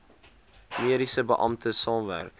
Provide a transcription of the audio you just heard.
mediese beampte saamwerk